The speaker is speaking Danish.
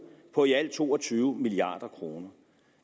på i alt to og tyve milliard kroner